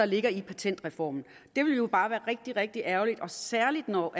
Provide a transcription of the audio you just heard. ligger i patentreformen det vil jo bare være rigtig rigtig ærgerligt og særlig når